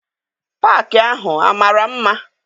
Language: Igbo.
Paakị ahụ amara mma?